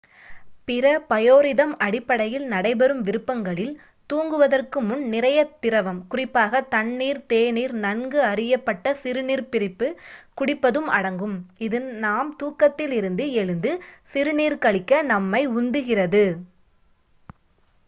பிற பயோரிதம்-அடிப்படையில் நடைபெறும் விருப்பங்களில் தூங்குவதற்கு முன் நிறைய திரவம் குறிப்பாக தண்ணீர் தேநீர் நன்கு அறியப்பட்ட சிறுநீர்ப் பிரிப்பு குடிப்பதும் அடங்கும் இது நாம் தூக்கத்திலிருந்து எழுந்து சிறுநீர் கழிக்க நம்மை உந்துகிறது